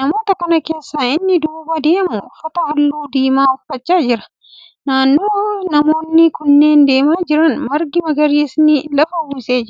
Namoota kana keessaa inni duuba deemu uffata halluu diimaa uffachaa jira. Naannoo namoonni kunneen deemaa jiran margi magariisni lafa uwwisee jira.